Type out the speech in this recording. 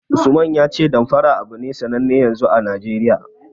Usman ya ce Damfara abu ne sanne yanzu a Najeriya.